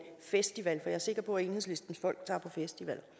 festival for jeg er sikker på at enhedslistens folk tager på festival